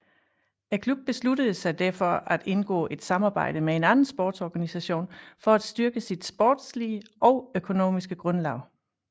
Klubben besluttede sig derfor at indgå et samarbejde med en anden sportsorganisation for at styrke sit sportslige og økonomiske grundlag